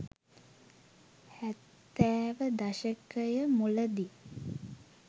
හැත්තෑව දශකය මුලදී